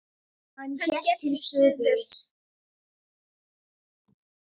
Hann hélt til suðurs.